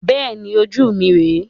Bẹ́ẹ̀ni, ojú mi rẹ.